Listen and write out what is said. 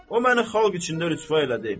O məni xalq içində rüsvay elədi.